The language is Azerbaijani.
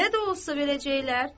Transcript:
Belə də olsa verəcəklər,